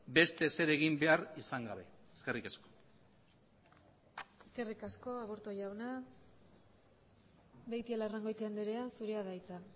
beste ezer egin behar izan gabe eskerrik asko eskerrik asko aburto jauna beitialarrangoitia andrea zurea da hitza